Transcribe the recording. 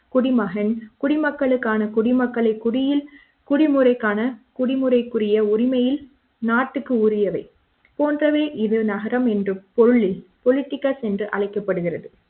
குடிமகன் குடிமக்களுக்கான குடிமக்கள் குடியில் குடிமுறைக்கான குடிமுறைக்குரிய உரிமையில் நாட்டுக்குரியவை போன்றவை இது நகரம் என்றும் politicals என்று அழைக்கப்படுகிறது